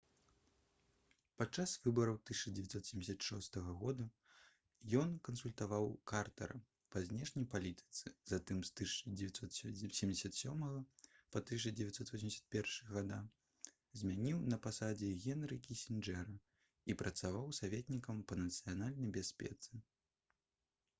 падчас выбараў 1976 г ён кансультаваў картара па знешняй палітыцы затым з 1977 па 1981 гг змяніў на пасадзе генры кісінджэра і працаваў саветнікам па нацыянальнай бяспецы